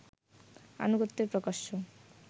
আনুগত্যের প্রকাশ্য